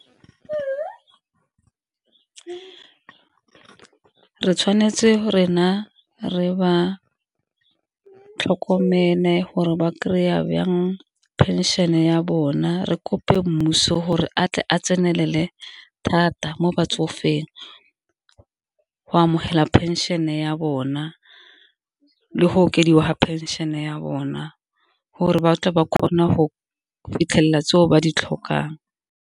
Fa re tshwanetse rena re ba tlhokomele gore ba kry-a bjang phenšene ya bona, re kope mmuso gore a tle a tsenelele thata mo batsofeng go amogela phenšene ya bona le go okediwa phenšene ya bona gore ba tle ba kgone go fitlhelela tseo ba di tlhokang.